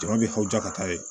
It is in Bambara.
Jama bɛ aw ja ka taa yen